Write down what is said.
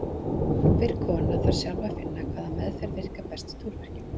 Hver kona þarf sjálf að finna hvaða meðferð virkar best við túrverkjum.